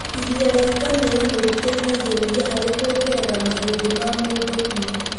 Iria rĩa ngamĩra nĩ rĩteithagĩrĩria harĩ kuongerera mahĩndĩ ma mũndũ hinya.